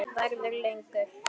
Verður lengur.